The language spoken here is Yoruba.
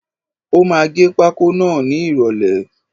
Ó máà ń gẹ pákó náà ni ìròlẹ́.